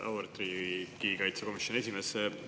Auväärt riigikaitsekomisjoni esimees!